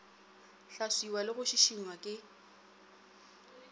hlaswiwa le go šišingwa ke